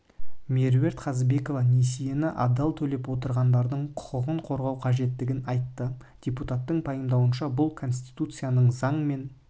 меруерт қазыбекова несиені адал төлеп отырғандардың құқығын қорғау қажеттігін айтты депутаттың пайымдауынша бұл конституциясының заң мен